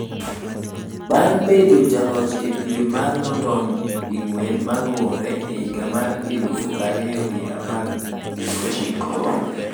bang bendo jaloch e pim mar London di ng'wen maluwore e higa mar elufu ariyo gi apar gi ochiko,